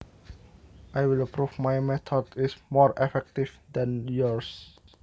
I will prove my method is more effective than yours